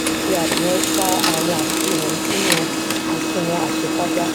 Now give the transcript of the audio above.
se afihan ipa awon asise wonyi sinu asunwon asekagba